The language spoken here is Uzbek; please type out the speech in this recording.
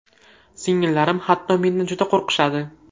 Singillarim hatto mendan juda qo‘rqishadi.